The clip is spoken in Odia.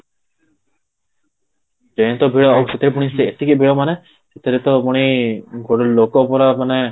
ଟ୍ରେନ ତ ଭିଡ଼ ଆଉ ସେଥିରେ ପୁଣି ଏତିକି ଭିଡ଼ ମାନେ ସେଥିରେ ତ ପୁଣି ଲୋକ ପୁରା ମାନେ